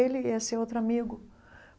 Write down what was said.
Ele e esse outro amigo.